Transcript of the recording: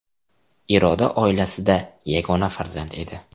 Iroda oilasida yagona farzand edi.